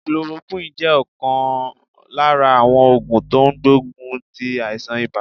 Chloroquine jẹ́ ọ̀kan lára àwọn ògùn tó n gbógun ti àìsàn ibà